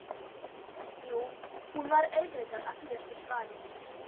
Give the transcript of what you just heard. Jú, hún var auðvitað að bíða eftir svari.